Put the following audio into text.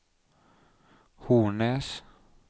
Hornnes